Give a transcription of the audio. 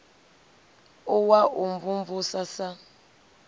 u wa u mvumvusa sa